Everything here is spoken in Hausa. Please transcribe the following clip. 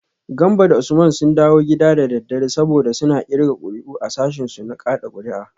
Gambo da Usman sun dawo gida da daddare, saboda suna kirga kuri’u a sashinsu na kada kuri’a